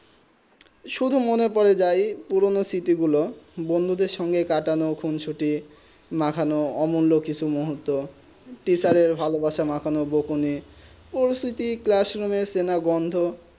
সুদু মনে পরে যায় পুরোনো সিঁথি গুলু বন্ধু দের কাটানো খুঁছুটি মাখাও আমূল ঋণ মুর্হত তেয়াছেরের ভালো ভাসা মাখবনে ওই সুতি ক্লাসরুমে সেটা গন্ধ